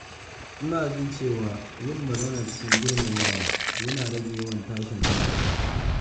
Ina jin cewa yin magana cikin girmamawa yana rage yawan tashin hankali.